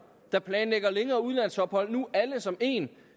der planlægger længere udlandsophold nu alle som en